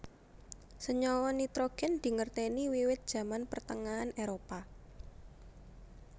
Senyawa nitrogèn dingertèni wiwit Zaman Pertengahan Éropah